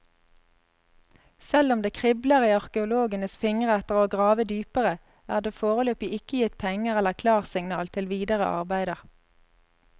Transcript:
Selv om det kribler i arkeologenes fingre etter å grave dypere, er det foreløpig ikke gitt penger eller klarsignal til videre arbeider.